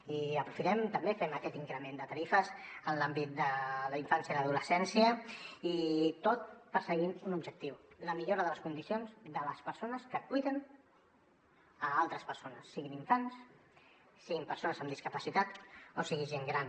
i aprofitem també fem aquest increment de tarifes en l’àmbit de la infància i l’adolescència tot perseguint un objectiu la millora de les condicions de les persones que cuiden altres persones siguin infants siguin persones amb discapacitat o sigui gent gran